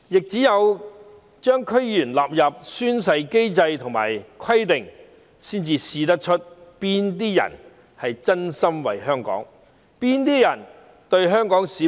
只有將區議員納入宣誓機制和規定，才能測試到哪些人是真心為香港，是真誠真意對待香港市民。